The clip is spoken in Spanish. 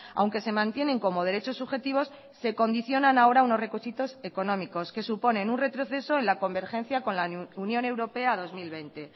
aunque se mantienen como derechos subjetivos se condicionan ahora unos requisitos económicos que suponen un retroceso en la convergencia con la unión europea dos mil veinte